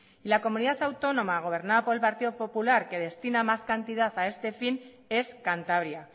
y la comunidad autónoma gobernada por el partido popular que destina más cantidad a este fin es cantabria